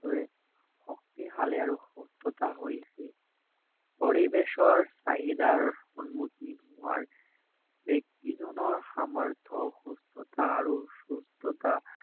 ভাৱে শক্তিশালি আৰু সুস্থতা হৈ আছে পৰিবেশৰ চাহিদাৰ সন্মুখীন হোৱাৰ ব্যক্তি জনৰ সামৰ্থ্য সুস্থতা আৰু সুস্থতা